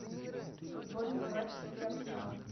футбольный матч сити арсенал